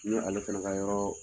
Ni ale fana ka yɔrɔ